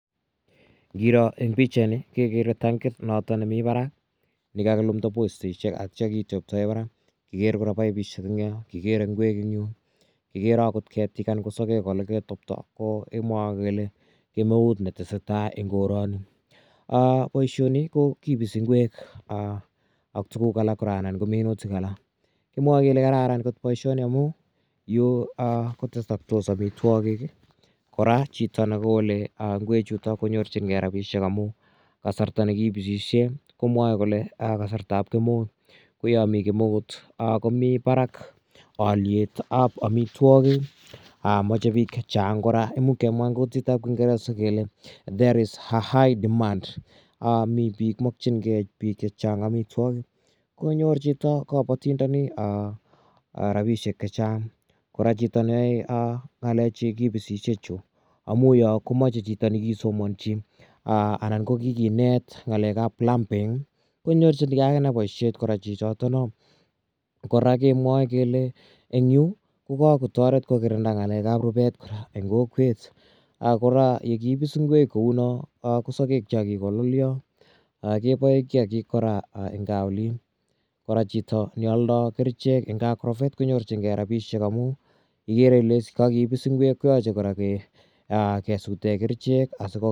Ngiro eng' pichaini kekere tankit notok nemi parak ne kakilumda postishek atia kiteptae parak. Kikere kora paipishek eng' yo, kikere ngwek eng' yu, kikere agot ketik anan ko saket ole ketokta kemwae kele kemeut ne tese tai eng' korani. Poishoni kipisi ngwek ak tuguk alak kora anan ko minutik alak. Kimwae kele kararan poishoni amun yu kotesaktos amitwogik. Kora chito ne kole ngwechutok konyorchingei rapishek amu kasarta ne kipisishe ko mwae kole kasarta ap kemeut. Ko ya mi kemeut ko mi parak aliet ap amitwogik. Mache piik che chang' kora imuch kenwa eng' kutit ap kingeresa kele there is a high demand. Mi pik, makchingei pik che chang' amitwogik konyorchingei kapatindani rapishek che chang'. Kora chito ne yae ng'alek chu kipisishe chu, amu yo ko mache chito ne kisomanchi anan ko kikinet ng'alek ap plumbing konyorchingei akine poishet chichotono. Kora ke nwae kele eng' yu ko kakotaret ko kirinda ng'alek ap rupet kora eng' kokwet. Kora yekipis ngwek kou no ko saket cha kikolalaya kepae kiakiik eng' gaa olin. Kora chito ne aldai kerichek eng' agrovet konyorchingei rapinishek amu igere ile is kakipis ngwek koyache kora kesute kerichek.